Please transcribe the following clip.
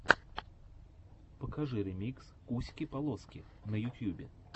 покажи ремикс куськи полоски на ютьюбе